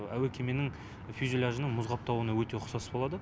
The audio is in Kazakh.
әуе кеменің фюзеляжының мұз қаптауына өте ұқсас болады